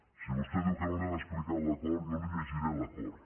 si vostè diu que no li han explicat l’acord jo li llegiré l’acord